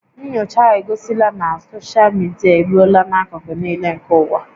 Nnyocha egosila na soshal midia eruola n'akụkụ niile nke ụwa